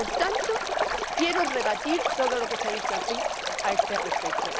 Por tanto, quiero rebatir todo lo que se ha dicho aquí a este respecto.